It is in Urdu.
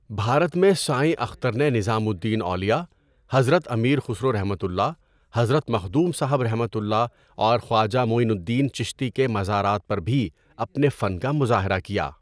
بھارت میں سائیں اختر نے نظام الدین اولیاء، حضرت امیر خسروؒ، حضرت مخدوم صاب ؒ اور خواجہ معین الدین چشتی کے مزارات پر بھی اپنے فن کا مظاہرہ کیا.